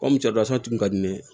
Ko mu cɛ tun ka di ne ye